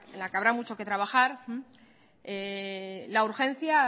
la que habrá mucho que trabajar la urgencia